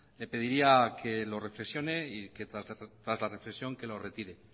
le pediría que lo reflexione y que tras la reflexión que lo retire